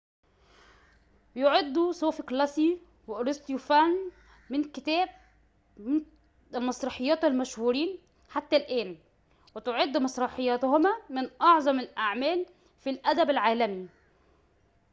يُعد سوفوكليس وأريستوفان من كتاب المسرحيات المشهورين حتى الآن وتعد مسرحياتهما من أعظم الأعمال في الأدب العالمي